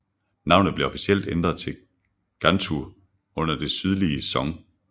Navnet blev officielt ændret til Ganzhou under Det sydlige Song